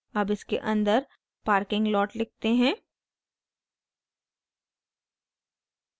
अब इसके अंदर parking lot लिखते हैं